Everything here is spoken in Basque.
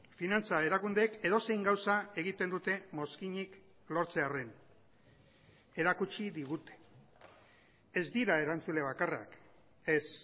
finantza erakundeek edozein gauza egiten dute mozkinik lortzearren erakutsi digute ez dira erantzule bakarrak ez